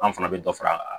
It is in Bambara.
An fana bɛ dɔ fara